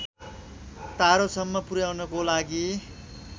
तारोसम्म पुर्‍याउनको लागि